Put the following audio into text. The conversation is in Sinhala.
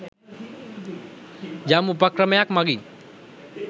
යම් උපක්‍රමයක් මඟින්